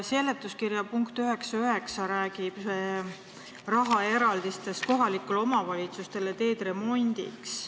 Seletuskirja punkt 9.9 räägib rahaeraldistest kohalikele omavalitsustele teede remondiks.